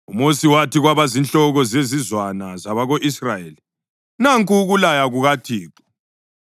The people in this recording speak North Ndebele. UMosi wathi kwabazinhloko zezizwana zabako-Israyeli: “Nanku ukulaya kukaThixo: